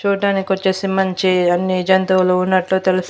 చూడ్డానికి వచ్చేసి మంచి అన్ని జంతువులు ఉన్నట్లు తెలుస్తుంది.